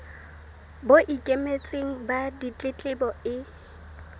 bo ikemetseng ba ditletlebo e